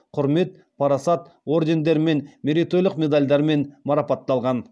құрмет парасат ордендерімен мерейтойлық медальдармен марапатталған